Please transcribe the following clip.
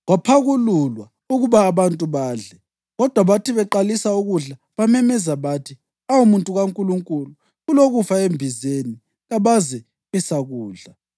Kwaphakululwa ukuba abantu badle, kodwa bathi beqalisa ukudla bamemeza bathi, “Awu muntu kaNkulunkulu kulokufa embizeni!” Kabazabe besakudla.